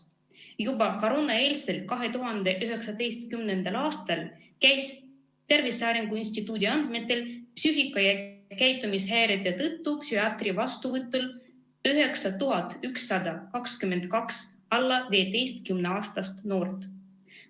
Juba koroonaeelsel, 2019. aastal käis Tervise Arengu Instituudi andmetel psüühika- ja käitumishäirete tõttu psühhiaatri vastuvõtul 9122 alla 15-aastast noort.